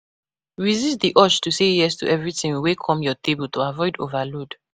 Resist di urge to say yes to everything wey come your table to avoid overload